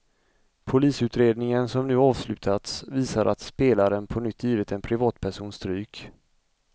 Polisutredningen som nu avslutats visar att spelaren på nytt givit en privatperson stryk.